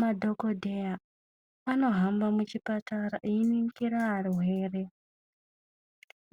Madhokodheya anohamba muchipatara einingira arwere.